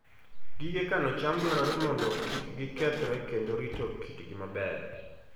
Gige kano cham dwarore mondo kik gikethre kendo rito kitgi maber.